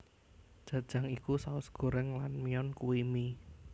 Jajang iku saos goreng lan myeon kui mie